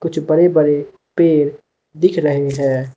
कुछ बड़े बड़े पेड़ दिख रहे हैं।